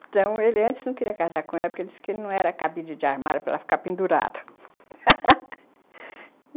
Então, ele antes não queria casar com ela porque ele disse que ele não era cabide de armário para ela ficar pendurada